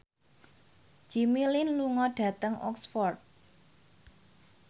Jimmy Lin lunga dhateng Oxford